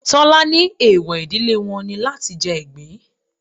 Tọ́lá ní eewọ ìdílé wọn ni láti jẹ ìgbín.